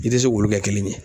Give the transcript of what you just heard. I tɛ se k'olu kɛ kelen ye.